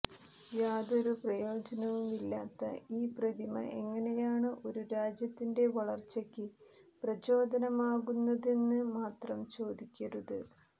യാതൊരു പ്രയോജനവുമില്ലാത്ത ഈ പ്രതിമ എങ്ങനെയാണ് ഒരു രാജ്യത്തിന്റെ വളര്ച്ചയ്ക്ക് പ്രചോദനമാകുന്നതെന്ന് മാത്രം ചോദിക്കരുത്